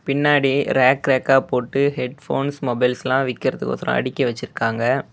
பின்னாடி ரேக் ரேக்கா போட்டு ஹெட்போன்ஸ் மொபைல்ஸ்லா விக்கிறதுக்கோஸ்றோ அடுக்கி வச்சிருக்காங்க.